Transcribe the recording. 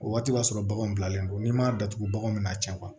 O waati b'a sɔrɔ baganw bilalen don n'i m'a datugu bagan bɛ na can